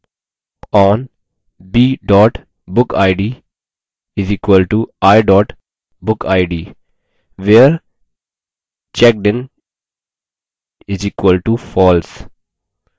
on b bookid = i bookid